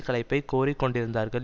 கலைப்பைக் கோரிக்கொண்டிருந்தார்கள்